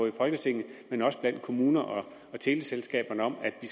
i folketinget men også blandt kommuner og teleselskaber om at vi